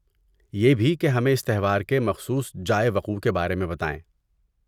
یہ بھی کہ ہمیں اس تہوار کے مخصوص جائے وقوع کے بارے میں بتائیں۔